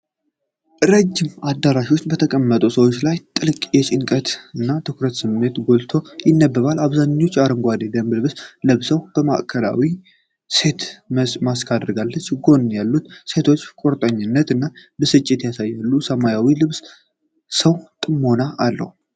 ረዥም አዳራሽ ውስጥ በተቀመጡት ሰዎች ላይ ጥልቅ የጭንቀት እና የትኩረት ስሜት ጎልቶ ይነበባል። አብዛኞቹ አረንጓዴ የደንብ ልብስ ለብሰዋል። ማዕከላዊቷ ሴት ማስክ አድርጋለች፤ ጎን ያሉት ሴቶች ቁርጠኝነት እና ብስጭት ያሳያሉ። የሰማያዊ ልብሱ ሰው ጥሞና አለው።